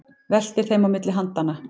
Veltir þeim á milli handanna.